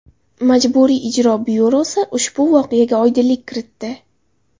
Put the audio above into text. Majburiy ijro byurosi ushbu voqeaga oydinlik kiritdi .